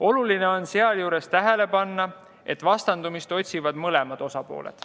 Oluline on sealjuures tähele panna, et vastandumist otsivad mõlemad osapooled.